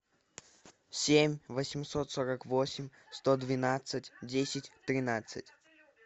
семь восемьсот сорок восемь сто двенадцать десять тринадцать